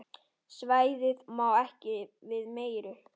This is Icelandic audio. Svæðið má ekki við meiru.